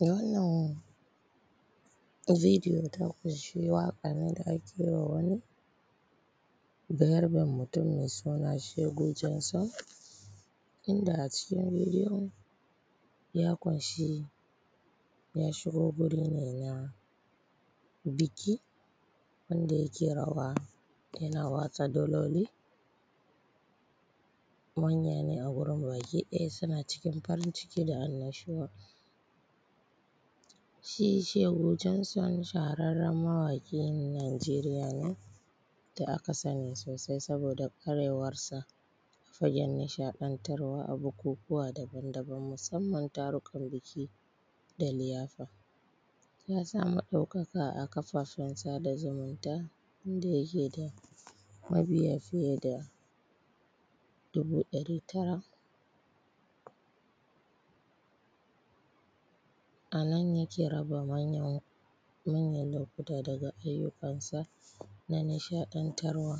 Wannan bidiyo ya ƙunshi waƙa ne da ake yiwa wani Bayarben mutum mai suna Shegu Jenson, inda a cikin bidiyon ya ƙunshi ya shigo guri ne na biki wanda yake rawa yana watsa daloli, manya ne baki ɗaya a wurin suna cikin farin ciki da annashuwa. Shi Shegu Jenson shaharraren mawaƙin Nijeriya ne da aka sani sosai, saboda kwarewarsa a fagen nishaɗantawa a bukukuwa daban-daban musamman tururukan biki da liyafa, ya samu ɗaukaka a kafafen sada zumunta inda yake da mabiya fiye da dubu ɗari, anan yake raba manya-manyan lokuta daga ayyukansa na nishaɗantarwa.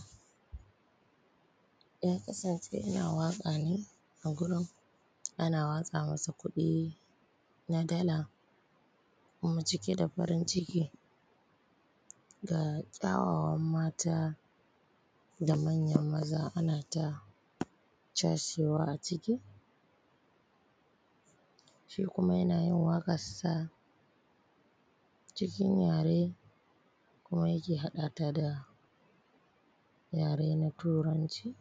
Yakasance yana waƙa ne a gurin ana watsa masa kuɗi na dala, kuma cike da farin ciki, ga kyawawan mata manya da manyan maza ana cashewa ciki, shi kuma yana yin waƙarsa cikin yare kuma yake haɗata da yare na turanci.